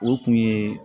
O kun ye